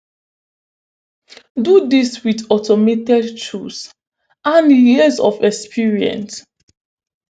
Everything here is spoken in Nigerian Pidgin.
do dis wit automated tools and years of experience